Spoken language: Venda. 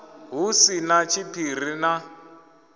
hu si na tshiphiri na